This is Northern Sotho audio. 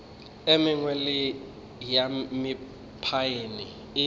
e mengwe ya mephaene e